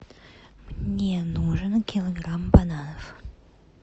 мне нужен килограмм бананов